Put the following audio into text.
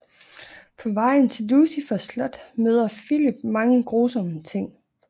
På vejen til Lucifers slot møder Filip mange grusomme ting